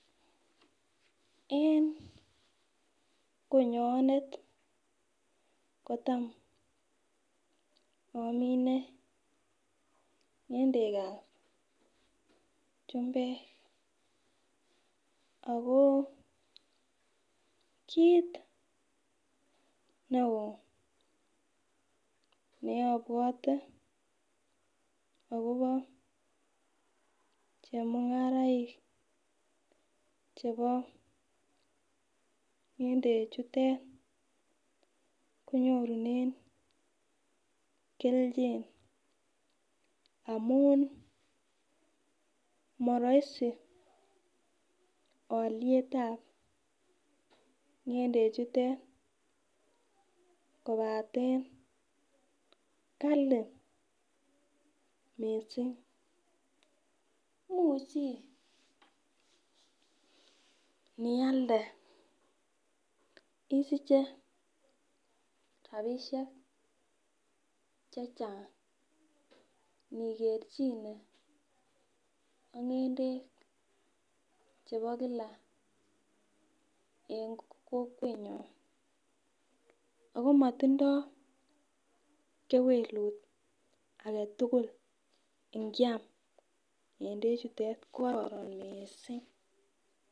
En konyonet kotam amine ng'endekab chumbek akoo kit ne oo neabwote agobo chemung'araik chebo ng'endechutet konyorunen kelchin amun morahisi alyetab ng'endechutet kobaten kali missing imuch inialde isiche rapisiek chechang inikerchine ak ng'endek chebo kila en kokwenyon, akomotindoo kewelut agetugul ngyam ng'endechutet kororon miissing.